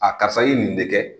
A karisa, i ye nin de kɛ.